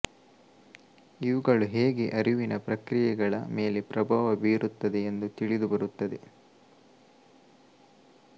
ಇವುಗಳು ಹೇಗೆ ಅರಿವಿನ ಪ್ರಕ್ರಿಯೆಗಳ ಮೇಲೆ ಪ್ರಭಾವ ಬೀರುತ್ತದೆ ಎಂದು ತಿಳಿದುಬರುತ್ತದೆ